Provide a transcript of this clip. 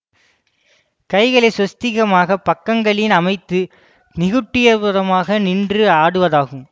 கைகளை ஸ்வஸ்திகமாகப் பக்கங்களில் அமைத்து நிகுட்டிதபாதமாக நின்று ஆடுவதாகும்